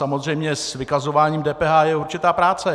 Samozřejmě s vykazováním DPH je určitá práce.